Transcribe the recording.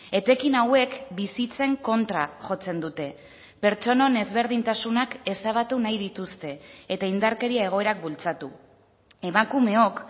etekin hauek bizitzen kontra jotzen dute pertsonen ezberdintasunak ezabatu nahi dituzte eta indarkeria egoerak bultzatu emakumeok